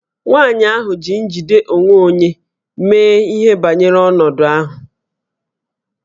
Nwaanyị ahụ ji njide onwe onye mee ihe banyere ọnọdụ ahụ